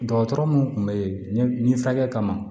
Dɔgɔtɔrɔ mun tun bɛ yen nin furakɛli kama